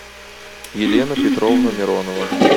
елена петровна миронова